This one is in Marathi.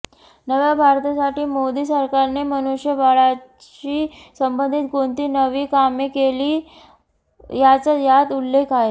नव्या भारतासाठी मोदी सरकारने मनुष्यबळाशी संबंधित कोणती नवी कामे केली याचा यात उल्लेख आहे